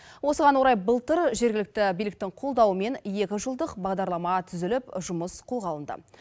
осыған орай былтыр жергілікті биліктің қолдауымен екі жылдық бағдарлама түзіліп жұмыс қолға алынды